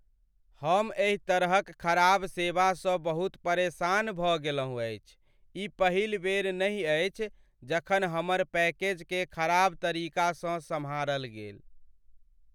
हम एहि तरहक खराब सेवासँ बहुत परेशान भऽ गेलहुँ अछि, ई पहिल बेर नहि अछि जखन हमर पैकेजकेँ खराब तरीकासँ सम्हारल गेल।